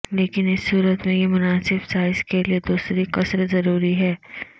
لیکن اس صورت میں یہ مناسب سائز کے لئے دوسری قصر ضروری ہے